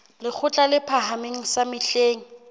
lekgotla le phahameng sa mehleng